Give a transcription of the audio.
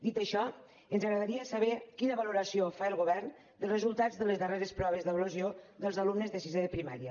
dit això ens agradaria saber quina valoració fa el govern dels resultats de les darreres proves d’avaluació dels alumnes de sisè de primària